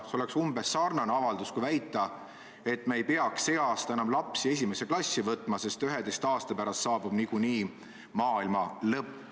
See on umbes sarnane avaldus kui väide, et me ei peaks see aasta enam lapsi esimesse klassi võtma, sest 11 aasta pärast saabub niikuinii maailma lõpp.